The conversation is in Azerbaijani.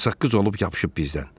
Qırxsaqqız olub yapışıb bizdən.